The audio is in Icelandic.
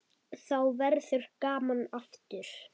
Þá verður gaman aftur.